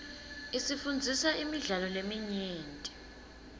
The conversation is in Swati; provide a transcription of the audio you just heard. isifundzisa imidlalo leminyenti